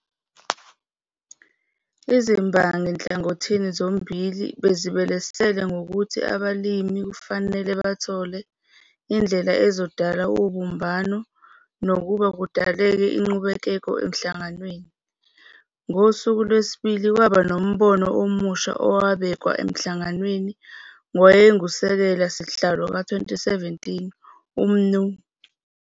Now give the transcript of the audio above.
Izimbangi nhlangothini zommbili bezibelesele ngokuthi abalimi kufanele bathole indlela ezodala ubumbano kunokuba kudaleke uqhekeko enhlanganweni. NgoSuku lweSibili kwaba nombono omusha owabekwa eNhlanganweni ngowayenguSekela sihlalo ka-2017 u-Mnu.